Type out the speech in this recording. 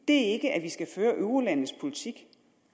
ikke at vi skal føre eurolandenes politik